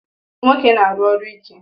Nwoke na-aru ọrụ ike